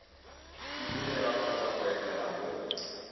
fudugela kgotsa go etela mo